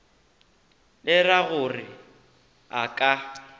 le ra gore a ka